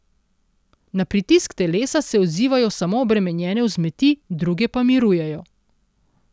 Na pritisk telesa se odzivajo samo obremenjene vzmeti, druge pa mirujejo.